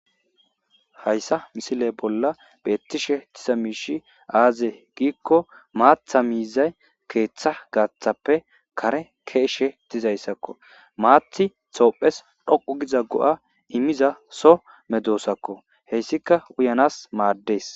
hayssa misile bolla beettishe tisa miishi aaze giikko maatha miizay keeththa gaaththappe kare keeshshe tizayssakko maathi toophes dhoqu giza go7a immiza so medoosakko heyssika uyanas maaddees